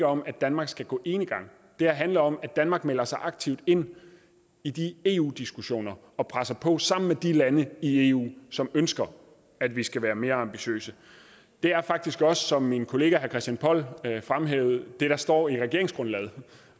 om at danmark skal gå enegang det handler om at danmark melder sig aktivt ind i de eu diskussioner og presser på sammen med de lande i eu som ønsker at vi skal være mere ambitiøse det er faktisk også som min kollega herre christian poll fremhævede det der står i regeringsgrundlaget